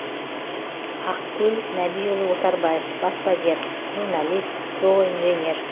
ақкөл нәбиұлы отарбаев баспагер журналист зооинженер